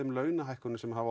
launahækkunum sem hafa